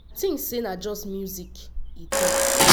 i tink say na just music” e tok.